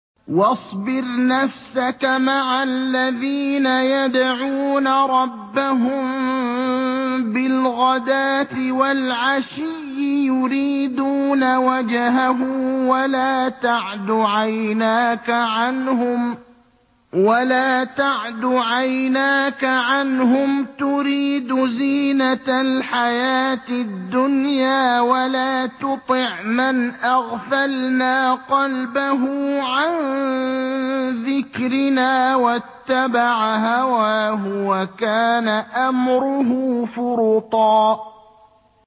وَاصْبِرْ نَفْسَكَ مَعَ الَّذِينَ يَدْعُونَ رَبَّهُم بِالْغَدَاةِ وَالْعَشِيِّ يُرِيدُونَ وَجْهَهُ ۖ وَلَا تَعْدُ عَيْنَاكَ عَنْهُمْ تُرِيدُ زِينَةَ الْحَيَاةِ الدُّنْيَا ۖ وَلَا تُطِعْ مَنْ أَغْفَلْنَا قَلْبَهُ عَن ذِكْرِنَا وَاتَّبَعَ هَوَاهُ وَكَانَ أَمْرُهُ فُرُطًا